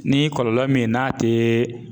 Ni kɔlɔlɔ min n'a tee